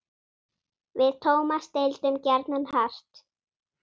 Við Tómas deildum gjarnan hart.